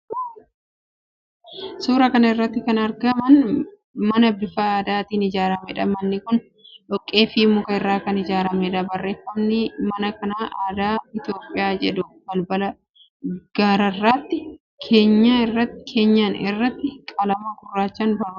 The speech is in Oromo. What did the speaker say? Suuraa kana irratti kan argamu mana bifa aadaatiin ijaarameedha. Manni kun dhoqqeefi muka irraa kan ijaarameedha. Barreeffamni "Mana Bunaa Aadaa Itiyoophiyaa" jedhu balbala gararraatti keenyan irratti qalama gurraachaan barreeffamee argama.